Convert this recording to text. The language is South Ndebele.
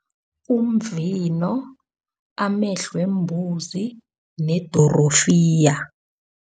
Umvino, amehlo wembuzi nedorofiya.